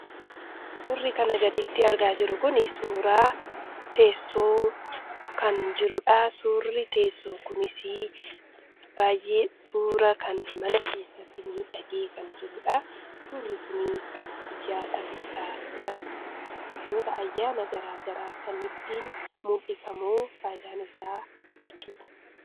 Suurri kanaa gaditti argaa jirru kun suuraa teessoo kan jirudha. Suurri teessoo kunis baay'ee suuraa kan mana keessatti miidhagee kan jirudha. Suurri kun kan guyyaa dhalootaa , guyyoota ayyaana garaagaraa ittiin mul'ifamu faayidaan isaa jechuudha.